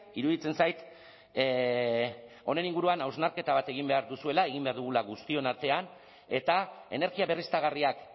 iruditzen zait honen inguruan hausnarketa bat egin behar duzuela egin behar dugula guztion artean eta energia berriztagarriak